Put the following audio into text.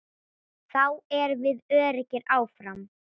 Þá erum við öruggir áfram.